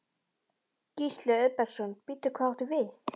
Gísli Auðbergsson: Bíddu, hvað áttu við?